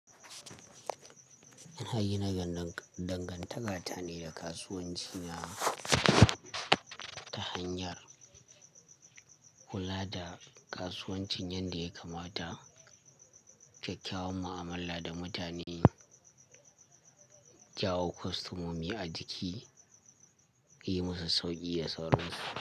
Yan hayina gidan dangantaka ta ne da kasuwanci, ta hanyar kula da kasuwancin yadda ya kamata, kyakkyawan mu'amala da mutane, jawo kwastomomi a jiki, yi musu sauki da sauran su.